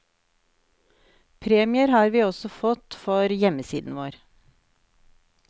Premier har vi også fått for hjemmesiden vår.